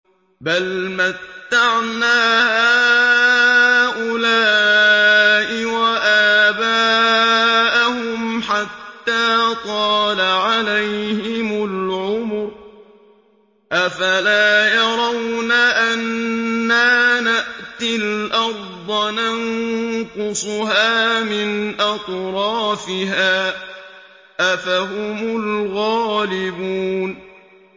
بَلْ مَتَّعْنَا هَٰؤُلَاءِ وَآبَاءَهُمْ حَتَّىٰ طَالَ عَلَيْهِمُ الْعُمُرُ ۗ أَفَلَا يَرَوْنَ أَنَّا نَأْتِي الْأَرْضَ نَنقُصُهَا مِنْ أَطْرَافِهَا ۚ أَفَهُمُ الْغَالِبُونَ